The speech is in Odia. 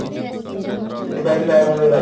ସେଥିପାଇଁ ବି ବାୟୁମଣ୍ଡଳ ଦାୟୀ